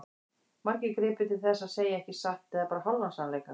Margir gripu til þess að segja ekki satt eða bara hálfan sannleika.